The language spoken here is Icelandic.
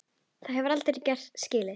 Það hef ég aldrei skilið.